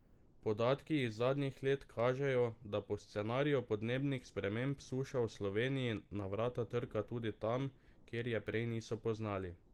Podatki iz zadnjih let kažejo, da po scenariju podnebnih sprememb suša v Sloveniji na vrata trka tudi tam, kjer je prej niso poznali.